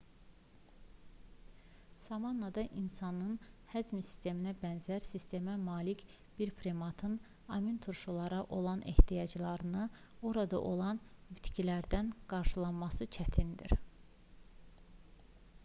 savannada insanın həzm sisteminə bənzər sistemə malik bir primatın aminturşulara olan ehtiyaclarını orada olan bitkilərdən qarşılaması çətindir